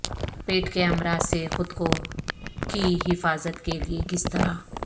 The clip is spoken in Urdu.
پیٹ کے امراض سے خود کو کی حفاظت کے لئے کس طرح